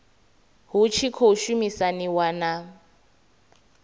hu tshi khou shumisaniwa na